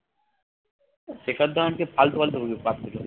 শেখর ধাবনকে ফালতু ফালতু গুলো